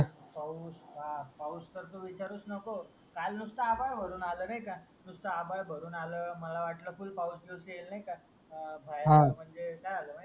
पाऊस हा पाऊस तर तू विचारूस नको काल नुसत आभाड भरून आल नायका नुसत आभाड भरून आल मला वाटल फूल पाऊस सुटेल नाहीका